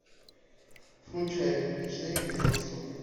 включай ночные дежурства